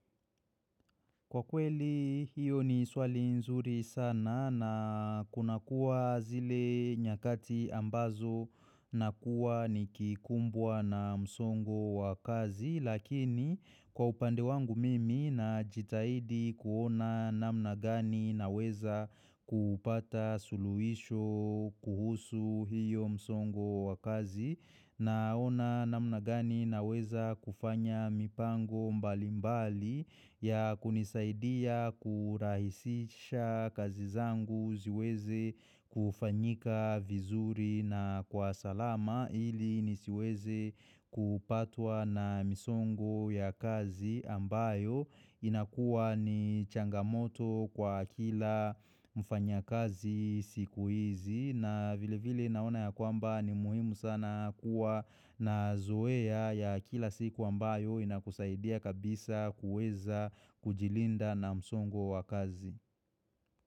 Kwa kweli hiyo ni swali nzuri sana na kunakuwa zile nyakati ambazo nakuwa nikikumbwa na msongo wa kazi lakini kwa upande wangu mimi najitahidi kuona namna gani naweza kupata suluhisho kuhusu hiyo msongo wa kazi Naona namna gani naweza kufanya mipango mbali mbali ya kunisaidia kurahisisha kazi zangu ziweze kufanyika vizuri na kwa salama ili nisiweze kupatwa na misongo ya kazi ambayo inakuwa ni changamoto kwa kila mfanyakazi siku hizi. Na vile vile naona ya kwamba ni muhimu sana kuwa na zoea ya kila siku ambayo inakusaidia kabisa kuweza kujilinda na msongo wa kazi.